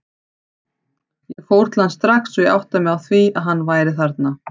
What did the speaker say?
Ég fór til hans strax og ég áttaði mig á að hann væri þarna.